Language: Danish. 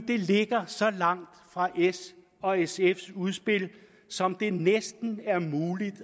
det ligger så langt fra s og sfs udspil som det næsten er muligt